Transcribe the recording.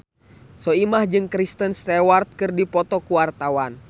Soimah jeung Kristen Stewart keur dipoto ku wartawan